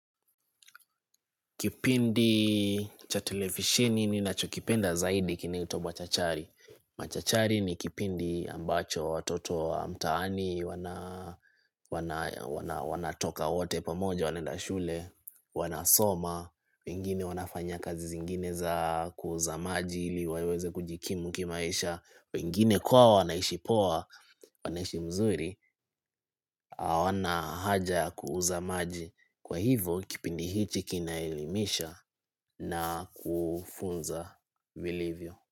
Kipindi cha televisheni ninachokipenda zaidi kinaitwa machachari. Machachari ni kipindi ambacho watoto wa mtaani, wanatoka wote pamoja, wanaenda shule, wanasoma, wengine wanafanya kazi zingine za kuuza maji ili waweze kujikimu kimaisha, wengine kwao wanaishi poa, wanaishi mzuri, hawana haja kuuza maji. Kwa hivo kipindi hichi kinaelimisha na kufunza vilivyo.